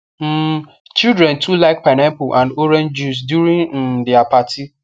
um children too like pineapple and orange juice during um their party